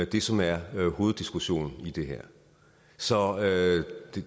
det som er hoveddiskussionen i det her så